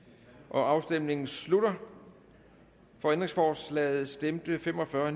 afstemningen slutter for ændringsforslaget stemte fem og fyrre